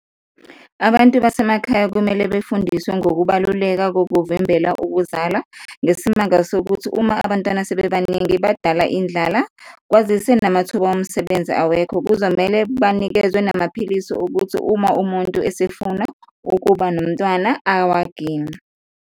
Abantu basemakhaya kumele befundiswe ngokubaluleka kokuvimbela ukuzala ngesimanga sokuthi uma abantwana sebebaningi badala indlala, kwazise namathuba omsebenzi awekho, kuzomele banikezwe namaphilisi ukuthi uma umuntu esefuna ukuba nomntwana awaginye.